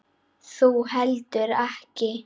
Þú heldur ekki.